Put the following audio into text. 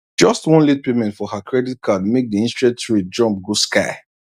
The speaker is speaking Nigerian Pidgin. just one late payment for her credit card make the interest rate jump go sky